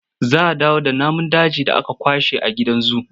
Za a dawo da namun dajin da aka kwashe a gidan zu.